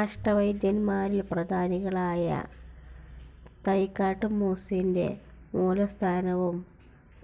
അഷ്ടവൈദ്യൻമാരിൽ പ്രധാനികളായ തൈക്കാട്ടു മൂസിന്റെ മൂലസ്ഥാനവും